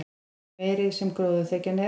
því meiri sem gróðurþekjan er